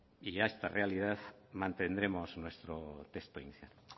y a esta realidad mantendremos nuestro texto inicial de